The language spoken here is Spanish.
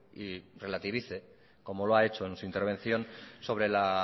y relativice como lo ha hecho en su intervención sobre la